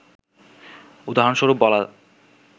উদাহরণস্বরূপ বলা